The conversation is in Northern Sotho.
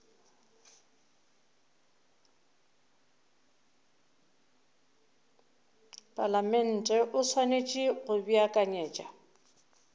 palamente o swanetše go beakanyetša